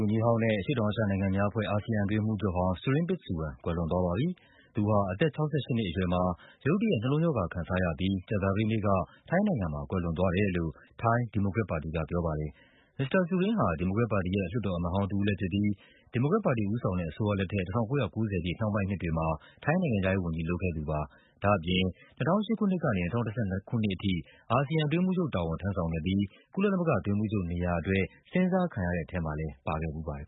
န်ကြီးဟောင်းနဲ့ အရှေ့တောင်အာရှနိုင်ငံများအဖွဲ့ ASEAN အတွင်းရေးမှူးချုပ်ဟောင်း Surin Pitsuwan ကွယ်လွန်သွားပါပြီ။ သူဟာ အသက် ၆၈ နှစ်အရွယ်မှာ ရုတ်တရက် နှလုံးရောဂါခံစားရပြီး ကြာသပတေးနေ့က ထိုင်းနိုင်ငံမှာ ကွယ်လွန်သွားတယ်လို့ ထိုင်း ဒီမိုကရက်ပါတီက ပြောပါတယ်။ မစ္စတာ Surin ဟာ ဒီမိုကရက်ပါတီရဲ့ လွှတ်တော်အမတ်ဟောင်းတဦးလဲဖြစ်ပြီး ဒီမိုကရက်ပါတီဦးဆောင်တဲ့ အစိုးရလက်ထက် ၁၉၉၀ ပြည့် နှောင်းပိုင်းနှစ်တွေမှာ ထိုင်းနိုင်ငံခြားရေးဝန်ကြီး လုပ်ခဲ့သူပါ။ ဒါ့အပြင် ၂၀၀၈ ခုနှစ်ကနေ ၂၀၁၂ ခုနှစ်အထိ အာဆီယံ အတွင်းရေးမှူးချုပ်တာဝန် ထမ်းဆောင်ခဲ့ပြီး ကုကလသမဂ္ဂ အတွင်းရေးမှူးချုပ်နေရာအတွက် စဉ်းစားတဲ့ထဲမှာလဲ ပါခဲ့ဖူးပါတယ်